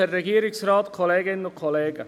Ich gebe dem Motionär das Wort.